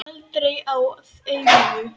Aldrei að eilífu.